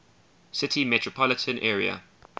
city metropolitan area